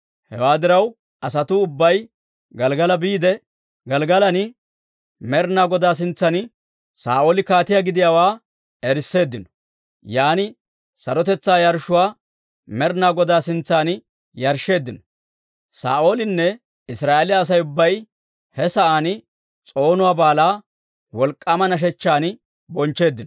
Hewaa diraw, asatuu ubbay Gelggala biide, Gelggalan, Med'inaa Godaa sintsan Saa'ooli kaatiyaa gidiyaawaa erisseeddino. Yan sarotetsaa yarshshuwaa Med'inaa Godaa sintsan yarshsheeddino; Saa'oolinne Israa'eeliyaa Asay ubbay he sa'aan s'oonuwaa baalaa wolk'k'aama nashechchan bonchcheeddino.